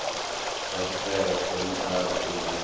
fasiṱere thomi a vhidzelela a